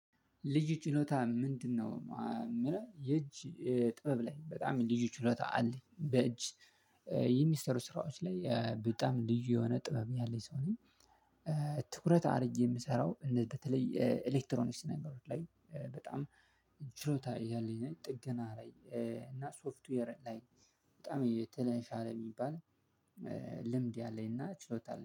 ልዩ ችሎታህ ምንድነው የምለው የእጅ ጥበብ ላይ በጣም ልዩ ችሎታ አለኝ በእጅ የሚሰሩ ስራዎች ላይ በጣም ልዩ የሆነ ጥበብ ያለኝ ሰው ነኝ። ትኩረት አድርጌ የምሰራው እንደ በተለይ ኤሌክትሮኒክስ ነገሮች ላይ በጣም ችሎታ ያለኝ ነኝ ጥገና ላይ እና ሶፍትዌር ላይ በጣም የተሻለ የሚባል። ልምድ ያለኝ እና ችሎታ